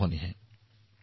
আমি ইয়াতেই ৰব নালাগিব